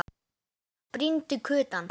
Brýndu kutann.